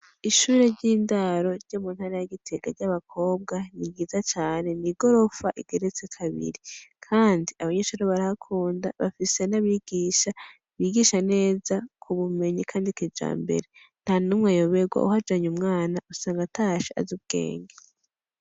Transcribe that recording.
Ishure ry' indaro ryo mu ntara rya Gitega y' abakobwa ni ryiza cane ni igorofa igeretse kabiri kandi abanyeshure barahakunda bafise n' abigisha bigisha neza kubumenyi kandi kijambere ntanumwe ayobega uhajanye umwana usanga atashe azi ubwenge.